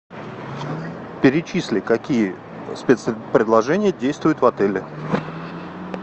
перечисли какие спецпредложения действуют в отеле